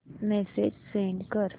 message send कर